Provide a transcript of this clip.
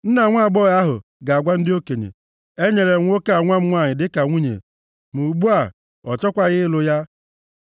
Nna nwaagbọghọ ahụ ga-agwa ndị okenye, “Enyere m nwoke a nwa m nwanyị dịka nwunye, ma ugbu a, ọ chọkwaghị ịlụ ya.